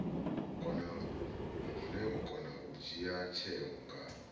kona u dzhia tsheo nga